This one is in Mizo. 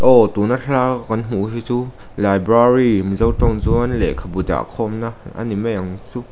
aww tuna thalaka kan hmuh hi cu library mizo tawng chuan lehkhabu dah khawmna a ni mai ang chu.